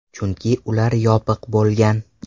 Chunki ular yopiq bo‘lgan.